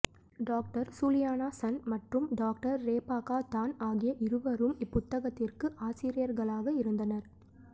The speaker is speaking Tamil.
டாக்டர் சூலியானா சன் மற்றும் டாக்டர் ரெபாக்கா தான் ஆகிய இருவரும் இப்புத்தகத்திற்கு ஆசிரியர்களாக இருந்தனர்